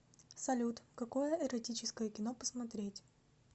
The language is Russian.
салют какое эротическое кино посмотреть